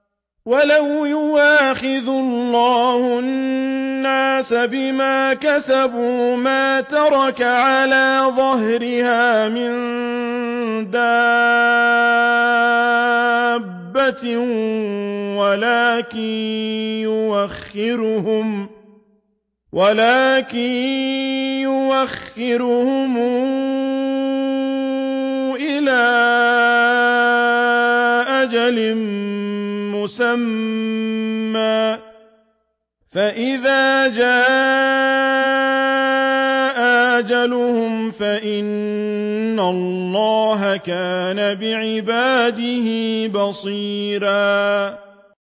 وَلَوْ يُؤَاخِذُ اللَّهُ النَّاسَ بِمَا كَسَبُوا مَا تَرَكَ عَلَىٰ ظَهْرِهَا مِن دَابَّةٍ وَلَٰكِن يُؤَخِّرُهُمْ إِلَىٰ أَجَلٍ مُّسَمًّى ۖ فَإِذَا جَاءَ أَجَلُهُمْ فَإِنَّ اللَّهَ كَانَ بِعِبَادِهِ بَصِيرًا